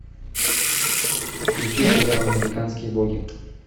включи сериал американские боги